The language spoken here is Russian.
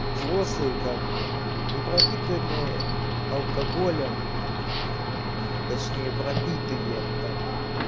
взрослые как бы и пропитанные алкоголем точнее пропитые да